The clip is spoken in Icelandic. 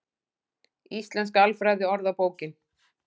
Íslenska alfræðiorðabókin.